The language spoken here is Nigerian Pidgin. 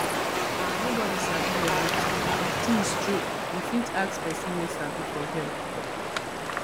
nobody sabi everything if things choke you fit ask person wey sabi for help